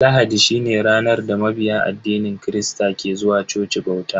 Lahadi shine ranar da mabiya addinin kirista ke zuwa coci bauta.